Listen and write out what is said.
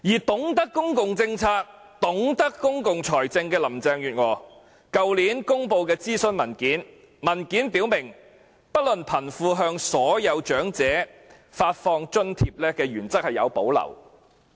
懂得公共政策和公共財政的林鄭月娥去年公布諮詢文件，文件表明對不論貧富，向所有長者發放津貼的原則有所保留。